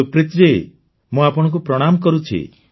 ସୁପ୍ରିତ ଜୀ ମୁଁ ଆପଣଙ୍କୁ ପ୍ରଣାମ କରୁଛି